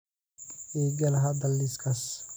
igala hadal liiskaas